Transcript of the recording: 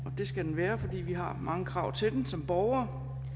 det skal den være fordi vi har mange krav til den som borgere